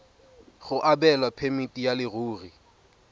go abelwa phemiti ya leruri